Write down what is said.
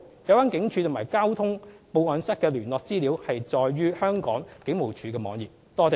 有關警署及交通報案室的聯絡資料載於香港警務處的網頁。